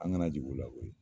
An kana jigi ula koyi